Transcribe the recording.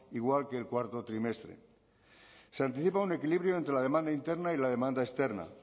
igual que el cuarto trimestre se anticipa un equilibrio entre la demanda interna y la demanda externa